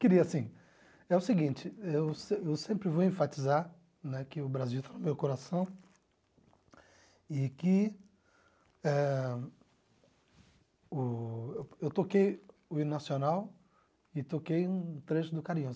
Queria, assim, é o seguinte, eu se eu sempre vou enfatizar né que o Brasil está no meu coração e que eh o eu toquei o hino nacional e toquei um trecho do Carinhoso.